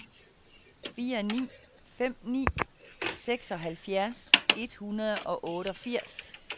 fire ni fem ni seksoghalvfjerds et hundrede og otteogfirs